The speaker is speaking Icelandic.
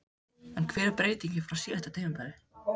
En hver er breytingin frá síðasta tímabili?